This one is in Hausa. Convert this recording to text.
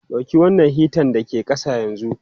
Dauki wannan hitan da ke ƙasa yanzu!